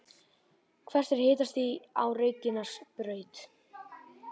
hvert er hitastigið á reykjanesbraut